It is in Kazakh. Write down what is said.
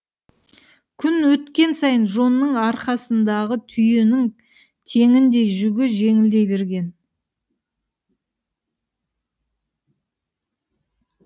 күн өткен сайын джонның арқасындағы түйенің теңіндей жүгі жеңілдей берген